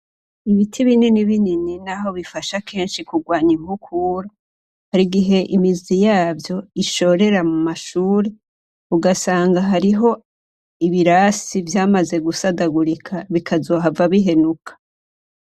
Ibiti binini binini naho bifasha kenshi kugwanya inkukura, harigihe imizi yavyo ishorera mumashure ugasanga hariho ibirasi vyamaze gusadagurika bikazohava bihenuka.